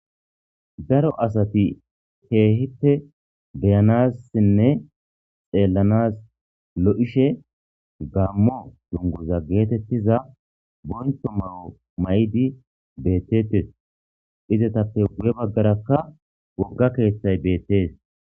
Daro asathi keehippe be7naassinne xeellanaas lo7ishe gaammo dungguzza geetheththiza bonchcho mayo mayidi beeththeeththes;izatappe guye baggarakka wogga keeththay beeththees.